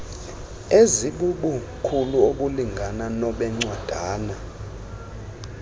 ezibubukhulu obulingana nobencwadana